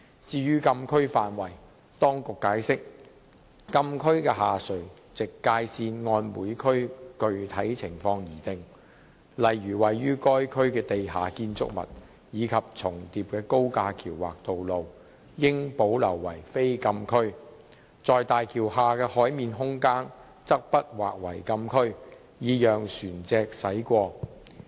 至於禁區範圍，當局解釋，禁區的下垂直界線按每區具體情況而定，例如位於該區的地下建築物及重疊的高架橋或道路，應保留為非禁區，在大橋下的海面空間則不劃為禁區，以讓船隻駛過。